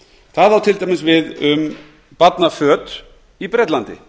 það á til dæmis við um barnaföt í bretlandi